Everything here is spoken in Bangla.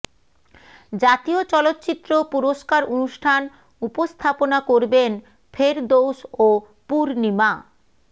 জাতীয় চলচ্চিত্র পুরস্কার অনুষ্ঠান উপস্থাপনা করবেন ফেরদৌস ও পূর্ণিমা